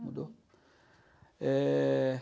Mudou. Eh...